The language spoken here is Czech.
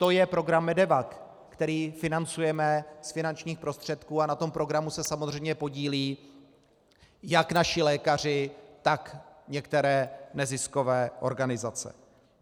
To je program MEDEVAC, který financujeme z finančních prostředků, a na tom programu se samozřejmě podílejí jak naši lékaři, tak některé neziskové organizace.